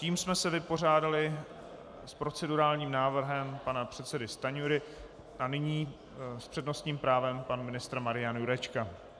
Tím jsme se vypořádali s procedurálním návrhem pana předsedy Stanjury a nyní s přednostním právem pan ministr Marian Jurečka.